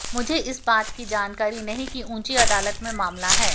मुझे इस बात की जानकारी नहीं है कि ऊंची अदालत में मामला है